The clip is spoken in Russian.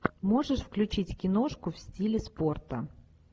можешь включить киношку в стиле спорта